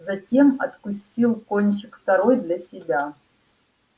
затем откусил кончик второй для себя